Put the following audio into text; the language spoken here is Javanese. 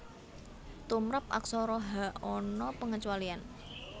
Tumrap Aksara Ha ana pangecualian